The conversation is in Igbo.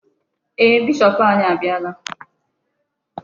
Ee, bishop anyị abịala.